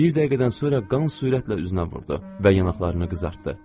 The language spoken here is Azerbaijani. Bir dəqiqədən sonra qan sürətlə üzünə vurdu və yanaqlarını qızartdı.